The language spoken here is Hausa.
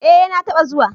Eh na ta ba zuwa